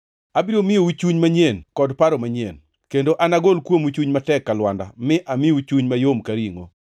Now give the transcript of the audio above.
Abiro miyou chuny manyien kod paro manyien; kendo anagol kuomu chuny matek ka lwanda mi amiu chuny mayom ka ringʼo.